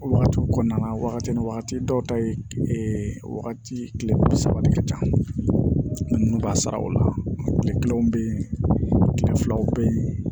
O wagati kɔnɔna na wagati ni wagati dɔw ta ye wagati kile bi saba de ka ca ninnu b'a sara o la kile kelen be yen kile filaw be yen